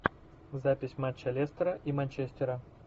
запись матча лестера и манчестера